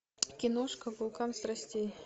киношка вулкан страстей